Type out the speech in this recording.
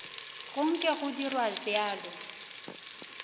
go nke go dirwa bjalo